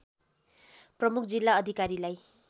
प्रमुख जिल्ला अधिकारीलाई